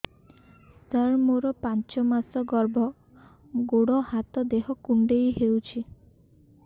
ସାର ମୋର ପାଞ୍ଚ ମାସ ଗର୍ଭ ଗୋଡ ହାତ ଦେହ କୁଣ୍ଡେଇ ହେଉଛି